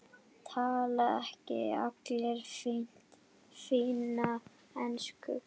Tala ekki allir fína ensku?